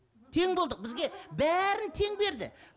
тең болдық бізге бәрін тең берді